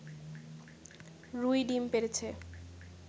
রুই ডিম পেড়েছে